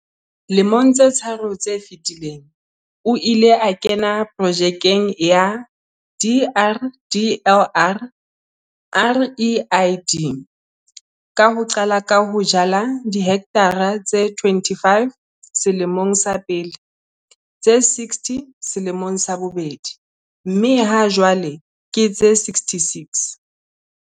Lemong tse tharo tse fetileng, o ile a kena Projekeng ya DRDLR REID ka ho qala ka ho jala dihekthara tse 25 selemong sa pele, tse 60 selemong sa bobedi, mme hajwale ke tse 66.